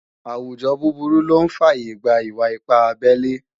àwùjọ búburú lọ́ ń fàyè gba ìwà-ipá abelé